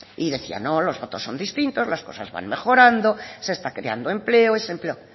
y decía no los datos son distintos las cosas van mejorando se está creando empleo ese empleo